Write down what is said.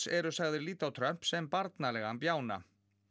eru sagðir líta á Trump sem barnalegan bjána